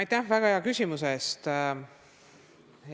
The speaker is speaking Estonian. Aitäh väga hea küsimuse eest!